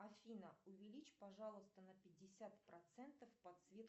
афина увеличь пожалуйста на пятьдесят процентов подсветку